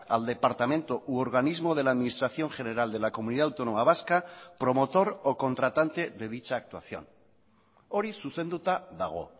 al departamento u organismo de la administración general de la comunidad autónoma vasca promotor o contratante de dicha actuación hori zuzenduta dago